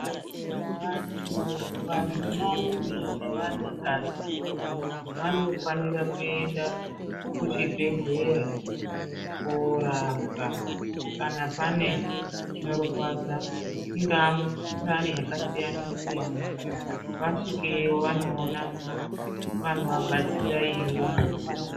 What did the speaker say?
Vanthu, vanarume nevanakadzi, vanofanira kuenda ku chibhedhlera, koorapwa, kana pane zvinorwadza, ingaa mikhuhlani yakasiyana-siyana, vasvikeyo vanoona vanovabatsira iyoyo.